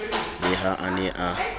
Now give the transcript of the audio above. le ha a ne a